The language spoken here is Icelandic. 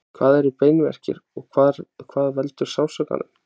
Hvað eru beinverkir og hvað veldur sársaukanum?